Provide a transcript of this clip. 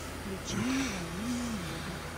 включи мне ванильное небо